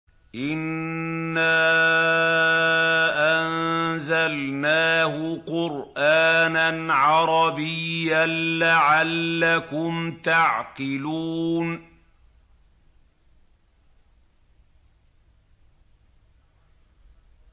إِنَّا أَنزَلْنَاهُ قُرْآنًا عَرَبِيًّا لَّعَلَّكُمْ تَعْقِلُونَ